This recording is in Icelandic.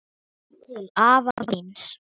Til afa míns.